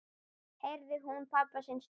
heyrði hún pabba sinn svara.